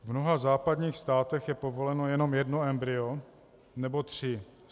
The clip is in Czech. V mnoha západních státech je povoleno jenom jedno embryo nebo tři.